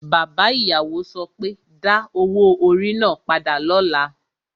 Bàbá ìyàwó so pé, Da owó orí náà padà lọ́la!